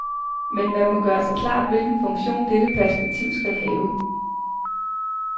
Men man må gøre sig klart hvilken funktion dette perspektiv skal have.